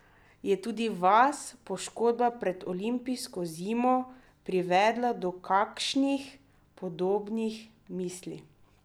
Je tudi vas poškodba pred olimpijsko zimo privedla do kakšnih podobnih misli?